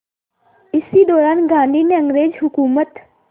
इसी दौरान गांधी ने अंग्रेज़ हुकूमत